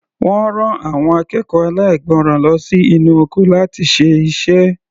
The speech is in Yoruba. Wọ́n rán àwọn akẹ́kọ̀ọ́ aláìgbọràn lọ sí inú oko láti ṣe iṣẹ́.